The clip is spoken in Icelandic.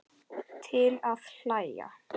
Til að hlæja.